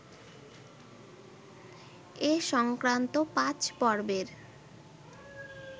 এ সংক্রান্ত ৫ পর্বের